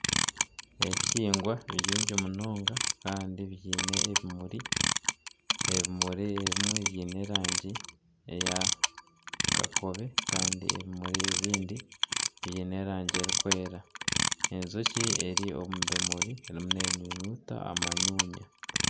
Ebihingwa ni bingi munonga kandi biine ebimuri, ebimuri ebimwe biine erangi ey'akakobe n'erikwera, enjoki eri omu bimuri eriyo neenyunyuta amanyunya